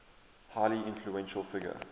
highly influential figure